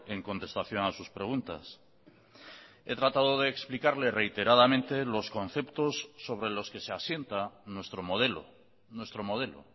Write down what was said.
en contestación a sus preguntas he tratado de explicarle reiteradamente los conceptos sobre los que se asienta nuestro modelo nuestro modelo